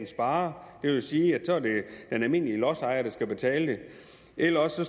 sparer det vil sige at så er det den almindelige lodsejer der skal betale det eller også